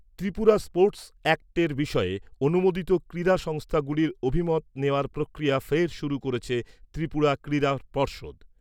Tripura sports অ্যাক্টের বিষয়ে অনুমেদিত ক্রীড়া সংস্থাগুলির অভিমত নেওয়ার প্রক্রিয়া ফের শুরু করেছে ত্রিপুরা ক্রীড়া পর্ষদ।